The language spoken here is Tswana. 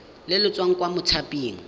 le le tswang kwa mothaping